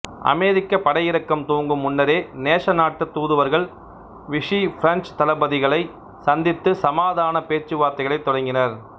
அமெரிக்கப் படையிறக்கம் துவங்கும் முன்னரே நேச நாட்டுத் தூதுவர்கள் விஷி பிரெஞ்சுத் தளபதிகளை சந்தித்து சமாதானப் பேச்சுவார்த்தைகளைத் தொடங்கினர்